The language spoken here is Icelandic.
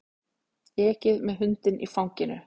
Ekið með hundinn í fanginu